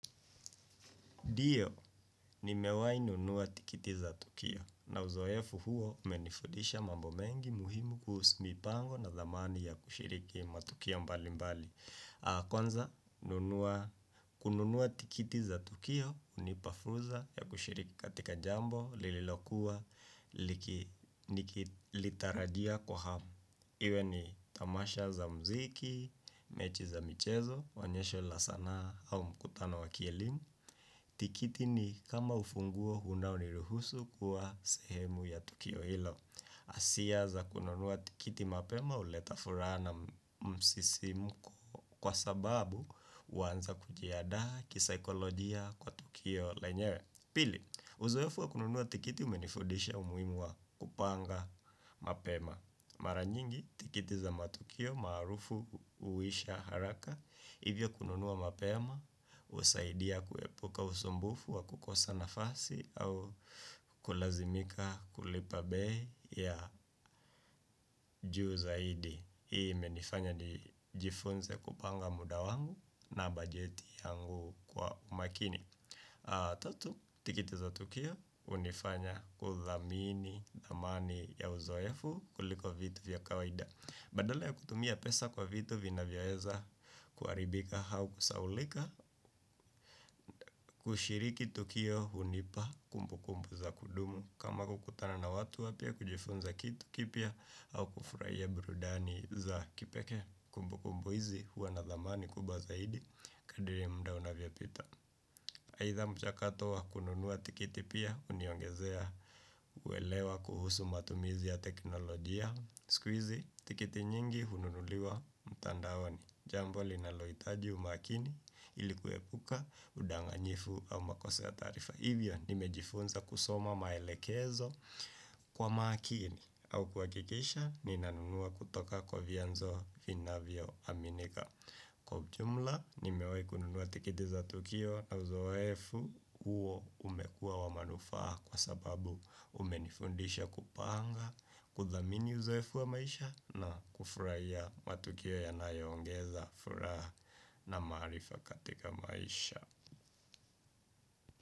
Ndiyo, nimewahi nunua tikiti za tukio na uzoefu huo umenifudisha mambo mengi muhimu kuhusu mipango na thamani ya kushiriki matukio mbalimbali. Kwanza, kununua tikiti za tukio, hunipa fursa ya kushiriki katika jambo lililokuwa nikilitarajia kwa hamu. Iwe ni tamasha za muziki, mechi za michezo, onyesho la sanaa au mkutano wa kielimu. Tikiti ni kama ufunguo unaoniruhusu kuwa sehemu ya tukio hilo. Asia za kununua tikiti mapema huleta furaha na msisimko kwa sababu huanza kujiandaa kisaikolojia kwa tukio lenyewe. Pili, uzoefu wa kununua tikiti umenifudisha umuhimu wa kupanga mapema. Mara nyingi tikiti za matukio maarufu huisha haraka, hivyo kununua mapema, husaidia kuepuka usumbufu wa kukosa nafasi au kulazimika kulipa bei ya juu zaidi. Hii imenifanya nijifunze kupanga muda wangu na bajeti yangu kwa makini. Tatu, tikiti za tukio hunifanya kudhamini thamani ya uzoefu kuliko vitu vya kawaida. Badala ya kutumia pesa kwa vitu vinavyoweza kuharibika au kusahaulika kushiriki tukio hunipa kumbukumbu za kudumu kama kukutana na watu wapya, kujifunza kitu kipya au kufurahia burudani za kipekee. Kumbukumbu hizi huwa na thamani kubwa zaidi kadri muda unavyapita. Aidha mchakato wa kununua tikiti pia huniongezea uelewa kuhusu matumizi ya teknolojia. Siku hizi tikiti nyingi hununuliwa mtandaoni. Jambo linalohitaji umakini ili kuepuka udanganyifu au makosa ya taarifa. Hivyo nimejifunza kusoma maelekezo kwa makini au kuhakikisha ninanunua kutoka kwa vyanzo vinavyoaminika. Kwa ujumla nimewahi kununua tikiti za tukio na uzoefu huo umekuwa wa manufaa kwa sababu umenifundisha kupanga. Kudhamini uzoefu wa maisha na kufurahia matukio yanayoongeza furaha na maarifa katika maisha.